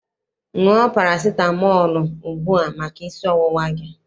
Ṅụọ parasitamọọlụ ugbua maka isi ọwụwa gị!